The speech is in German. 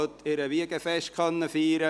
Sie können heute Ihr Wiegenfest feiern.